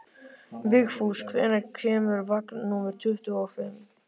Vigfús, hvenær kemur vagn númer tuttugu og fimm?